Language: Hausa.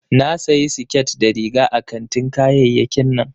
Na sayi siket da riga a kantin kayayyakin nan